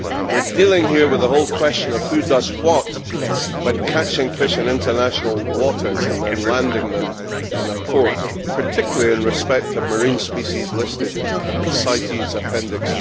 We are dealing here with the whole question of who does what when catching fish in international waters and then landing them in a port, particularly in respect of marine species listed in CITES Appendix